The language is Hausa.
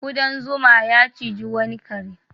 Ƙudan zuma ya ciji wani kare.